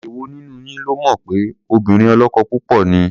Èwo nínú yín ló mọ̀ pé obìnrin ọlọ́kọ púpọ̀ ni?